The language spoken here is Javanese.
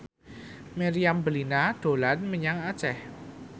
Meriam Bellina dolan menyang Aceh